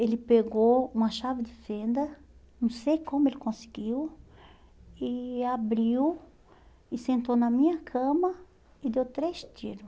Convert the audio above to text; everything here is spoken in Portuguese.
Ele pegou uma chave de fenda, não sei como ele conseguiu, e abriu e sentou na minha cama e deu três tiro.